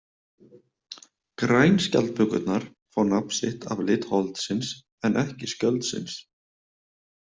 Grænskjaldbökurnar fá nafn sitt af lit holdsins en ekki skjöldsins.